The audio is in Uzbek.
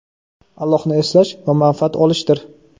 Allohni eslash va manfaat olishdir.